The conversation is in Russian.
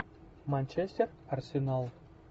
манчестер арсенал